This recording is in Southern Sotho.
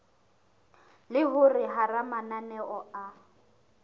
le hore hara mananeo a